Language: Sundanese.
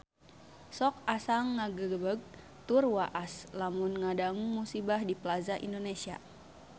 Sok asa ngagebeg tur waas lamun ngadangu musibah di Plaza Indonesia